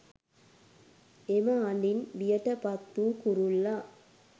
එම හඬින් බියට පත් වූ කුරුල්ලා